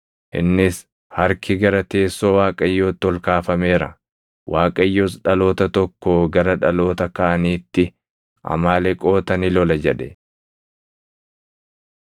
Innis, “Harki gara teessoo Waaqayyootti ol kaafameera. Waaqayyos dhaloota tokkoo gara dhaloota kaaniitti Amaaleqoota ni lola” jedhe.